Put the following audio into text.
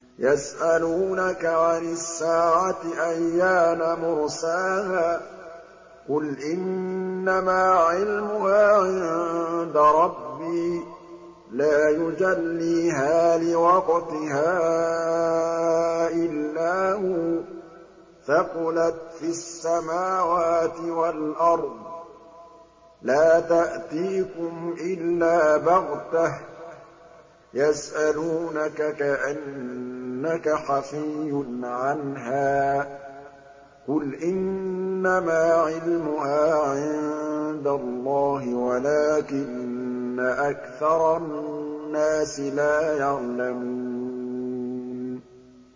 يَسْأَلُونَكَ عَنِ السَّاعَةِ أَيَّانَ مُرْسَاهَا ۖ قُلْ إِنَّمَا عِلْمُهَا عِندَ رَبِّي ۖ لَا يُجَلِّيهَا لِوَقْتِهَا إِلَّا هُوَ ۚ ثَقُلَتْ فِي السَّمَاوَاتِ وَالْأَرْضِ ۚ لَا تَأْتِيكُمْ إِلَّا بَغْتَةً ۗ يَسْأَلُونَكَ كَأَنَّكَ حَفِيٌّ عَنْهَا ۖ قُلْ إِنَّمَا عِلْمُهَا عِندَ اللَّهِ وَلَٰكِنَّ أَكْثَرَ النَّاسِ لَا يَعْلَمُونَ